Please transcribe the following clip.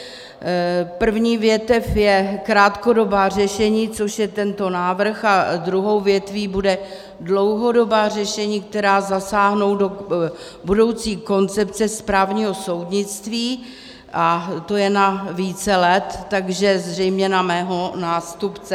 První větev je krátkodobá řešení, což je tento návrh, a druhou větví bude dlouhodobá řešení, která zasáhnou do budoucí koncepce správního soudnictví, a to je na více let, takže zřejmě na mého nástupce.